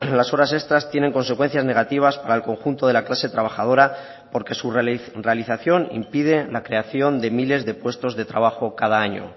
las horas extras tienen consecuencias negativas para el conjunto de la clase trabajadora porque su realización impide la creación de miles de puestos de trabajo cada año